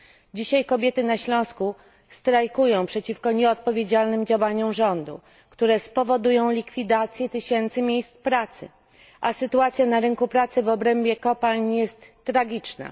Dzisiaj kobiety na Śląsku strajkują przeciwko nieodpowiedzialnym działaniom rządu, które spowodują likwidację tysięcy miejsc pracy, a sytuacja na rynku pracy w obrębie kopalń jest tragiczna.